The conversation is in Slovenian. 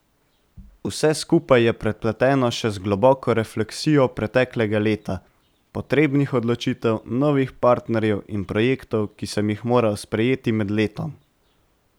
Vse skupaj je prepleteno še z globoko refleksijo preteklega leta, potrebnih odločitev, novih partnerjev in projektov, ki sem jih moral sprejeti med letom.